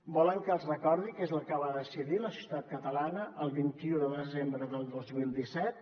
volen que els recordi què és el que va decidir la societat catalana el vint un de desembre del dos mil disset